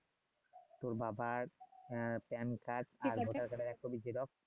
তোর বাবার এ কার্ড আর ভোটার কার্ডের এক কপি ছিলো